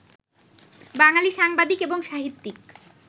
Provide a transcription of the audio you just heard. বাঙালি সাংবাদিক এবং সাহিত্যিক